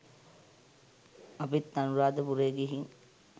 අපිත් අනුරධපුරේ ගිහින්